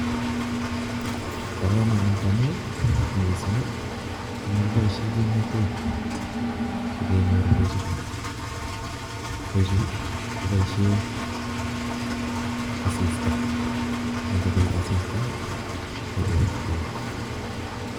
Bo komonut amu missing komakiboisie kimnatet sikenyor beechu. Beechu koboisie asista, ne ng'obit asista, korot beek